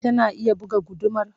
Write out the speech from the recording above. Tana iya buga gudumar?